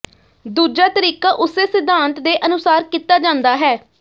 ਦੂਜਾ ਤਰੀਕਾ ਉਸੇ ਸਿਧਾਂਤ ਦੇ ਅਨੁਸਾਰ ਕੀਤਾ ਜਾਂਦਾ ਹੈ